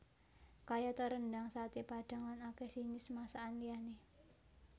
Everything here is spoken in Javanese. Kayata rendhang saté padhang lan akèh jinis masakan liyané